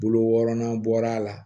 Bolo wɔrɔnan bɔra a la